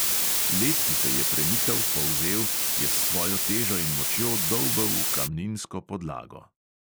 Led, ki se je premikal, polzel, je s svojo težo in močjo dolbel v kamninsko podlago.